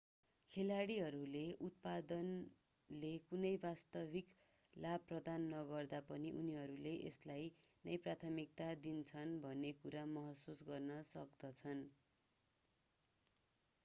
खेलाडीहरूले उत्पादनले कुनै वास्तविक लाभ प्रदान नगर्दा पनि उनीहरूले यसलाई नै प्राथमिकता दिन्छन् भन्ने कुरा महसुस गर्न सक्दछन्